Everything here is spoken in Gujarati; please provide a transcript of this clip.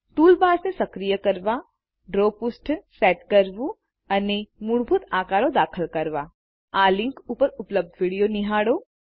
ટૂલ બાર્સને સક્રિય કરવા ડ્રો પૃષ્ઠ સેટ કરવું અને મૂળભૂત આકારો દાખલ કરવા આ લિંક ઉપર ઉપલબ્ધ વિડીયો નિહાળો